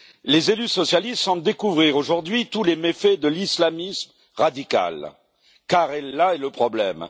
Les élus socialistes semblent découvrir aujourd'hui tous les méfaits de l'islamisme radical, car là est le problème.